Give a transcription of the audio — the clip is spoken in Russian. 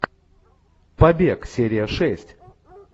побег серия шесть